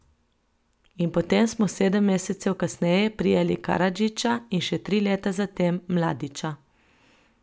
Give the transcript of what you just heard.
In potem smo sedem mesecev kasneje prijeli Karadžića in še tri leta zatem Mladića.